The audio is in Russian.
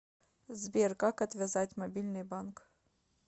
сбер как отвязать мобильный банк